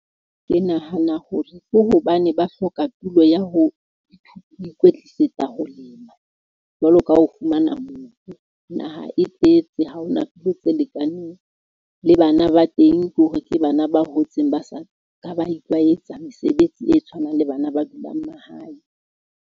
Ke nahana hore ko hobane ba hloka tulo ya ho ikwetlisetsa ho lema. Jwalo ka ho fumana mobu. Naha e tletse, ha hona tulo tse lekaneng. Le bana ba teng, ke hore ke bana ba hotseng ba sa ka ba itlwaetsa mesebetsi e tshwanang le bana ba dulang mahae.